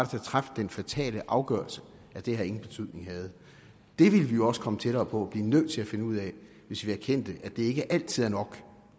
der traf den fatale afgørelse at det her ingen betydning havde det ville vi også komme tættere på og blive nødt til at finde ud af hvis vi erkendte at det ikke altid er nok at